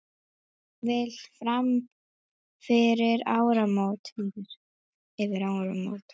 Jafnvel fram yfir áramót.